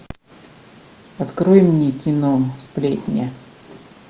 открой мне кино сплетни